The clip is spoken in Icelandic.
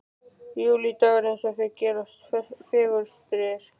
Júlídagur eins og þeir gerast fegurstir.